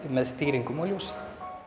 með stýringum á ljósi